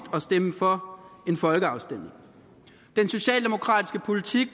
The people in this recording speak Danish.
at stemme for en folkeafstemning den socialdemokratiske politik